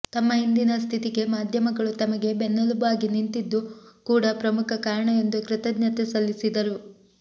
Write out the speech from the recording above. ತಮ್ಮ ಇಂದಿನ ಸ್ಥಿತಿಗೆ ಮಾಧ್ಯಮಗಳು ತಮಗೆ ಬೆನ್ನೆಲುಬಾಗಿ ನಿಂತಿದ್ದು ಕೂಡ ಪ್ರಮುಖ ಕಾರಣ ಎಂದು ಕೃತಜ್ಞತೆ ಸಲ್ಲಿಸಿದರು